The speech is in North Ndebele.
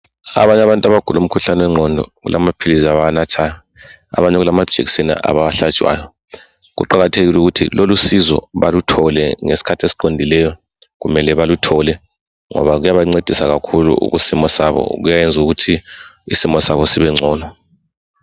Abanye abantu abagula umkhuhlane wengqondo kulamaphilisi abawanathayo Abanye kulamajekiseni abawahlatshwayo kuqakathekile ukuthi lolu sizo baluthole ngesikhathi esiqondileyo kumele baluthole ngoba kuyabancedisa kakhulu kusimo kuyayenza ukuthi isimo sabo sibe ngcono